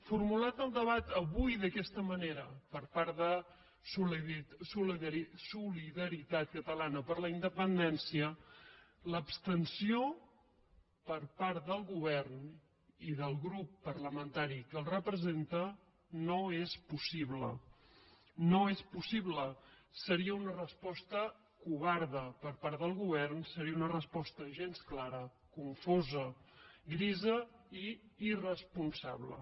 formulat el debat avui d’aquesta manera per part de solidaritat catalana per la independència l’abstenció per part del govern i del grup parlamentari que el representa no és possible no és possible seria una resposta covarda per part del govern seria una resposta gens clara confosa grisa i irresponsable